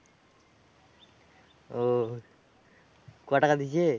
ওহ ক টাকা দিয়েছে?